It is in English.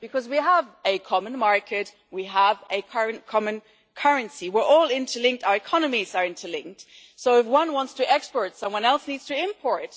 This is because we have a common market, we have a current common currency, we are all interlinked and our economies are interlinked, so if one wants to export, someone else needs to import.